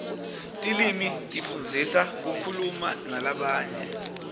tilwimi tisifundzisa kukhuluma nalabanye